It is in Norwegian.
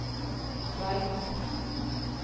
Tveit